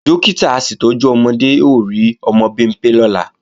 Dókítà aṣètọ́jú ọmọdé ó rí ọmọ Bimpé lọ́la